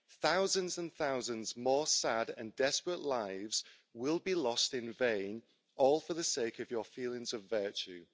thousands and thousands more sad and desperate lives will be lost in vain, all for the sake of your feelings of virtue.